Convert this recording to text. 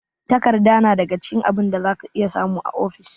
Takarda na daga cikin abin da za ka iya samu a ofis.